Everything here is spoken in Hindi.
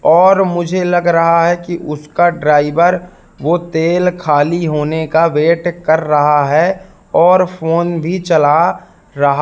और मुझे लग रहा है कि उसका ड्राइवर वो तेल खाली होने का वेट कर रहा है और फोन भी चला रहा--